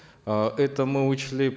э это мы учли